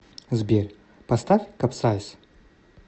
сбер поставь капсайз